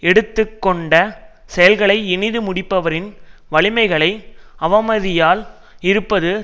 எடுத்து கொண்ட செயல்களை இனிது முடிப்பவரின் வலிமைகளை அவமதியாமல் இருப்பது